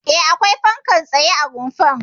E, akwai fankar tsaye a rumfar.